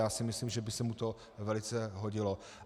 Já si myslím, že by se mu to velice hodilo.